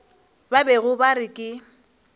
ba bego ba re ke